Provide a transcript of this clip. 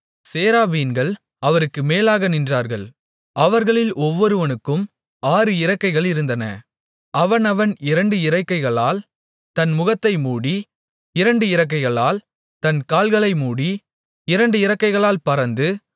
சேராபீன்கள் அவருக்கு மேலாக நின்றார்கள் அவர்களில் ஒவ்வொருவனுக்கும் ஆறு இறக்கைகளிருந்தன அவனவன் இரண்டு இறக்கைகளால் தன் முகத்தை மூடி இரண்டு இறக்கைகளால் தன் கால்களை மூடி இரண்டு இறக்கைகளால் பறந்து